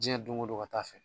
Jiɲɛ don go don ka taa fɛ.